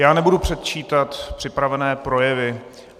Já nebudu předčítat připravené projevy.